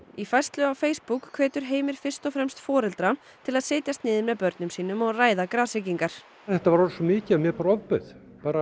í færslu á Facebook hvetur Heimir fyrst og fremst foreldra til að setjast niður með börnum sínum og ræða þetta var orðið svo mikið að mér bara ofbauð